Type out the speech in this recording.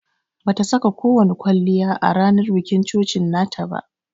Bata saka ko wani kwalliya a ranan bikin coci nata ba.